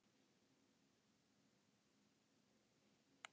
Magga er líka svo góður áheyrandi að hann ræður ekkert við sig.